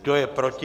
Kdo je proti?